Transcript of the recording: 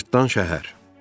Cırtdan Şəhər.